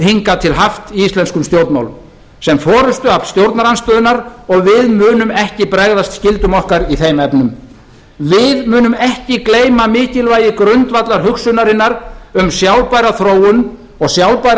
hingað til haft í íslenskum stjórnmálum sem forustuafl stjórnarandstöðunnar og við munum ekki bregðast skyldum okkar í þeim efnum við munum ekki gleyma mikilvægi grundvallarhugsunarinnar um sjálfbæra þróun og sjálfbæra